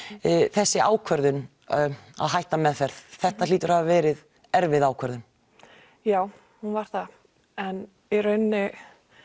þessi ákvörðun að hætta meðferð þetta hlýtur að hafa verið erfið ákvörðun já hún var það en í rauninni